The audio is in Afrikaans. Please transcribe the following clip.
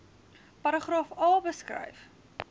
paragraaf a beskryf